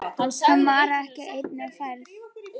Hann var ekki einn á ferð.